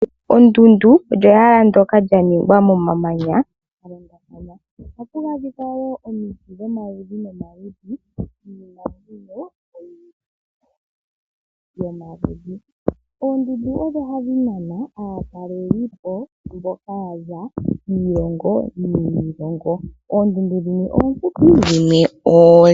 Ondunda olyo ehala ndyoka lyaningwa momamanya galindathana ohaku adhika woo omuti dhomaludhi nomaludhi niinamwenyo oyindji yomaludhi Oondundu odho hadhi nana aatalelipo mboka yaza kiilongo niilongo. Oondundu dhimwe oonde dhimwe oofupi.